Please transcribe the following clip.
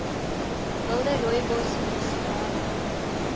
wilde rooibos medisinale